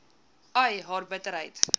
ai haar bitterheid